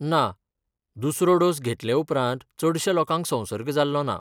ना, दुसरो डोस घेतले उपरांत चडश्या लोकांक संसर्ग जाल्लो ना.